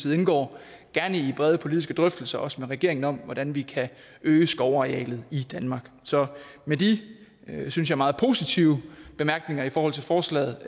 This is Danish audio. indgår gerne i brede politiske drøftelser også med regeringen om hvordan vi kan øge skovarealet i danmark så med de synes jeg meget positive bemærkninger i forhold til forslaget